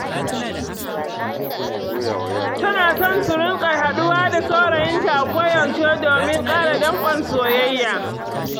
Tana son su riƙa haɗuwa da saurayinta a koyaushe domin ƙara danƙon soyayya.